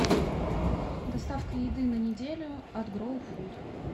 доставка еды на неделю от гроу фуд